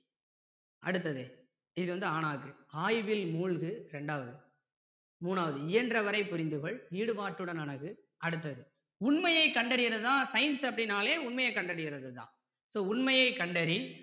அடுத்தது இது வந்து அ னாது ஆய்வில் மூழ்கு ரெண்டாவது மூணாவது இயன்றவரை புரிந்து கொள் ஈடுபாட்டுடன் அணுகு அடுத்தது உண்மையை கண்டறியறது தான் science அப்படினாலே உண்மைய கண்டறியறது தான் so உண்மையை கண்டறி